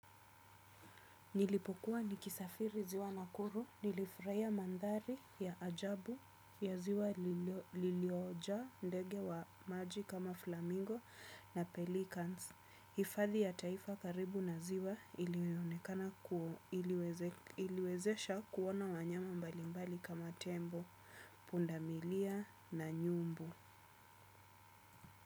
Nilipokuwa nikisafiri ziwa nakuru, nilifurahia mandhari ya ajabu ya ziwa liliojaa ndege wa maji kama flamingo na pelicans. Hfadhi ya taifa karibu na ziwa ilionekana iliwezesha kuona wanyama mbalimbali kama tembo, pundamilia na nyumbu.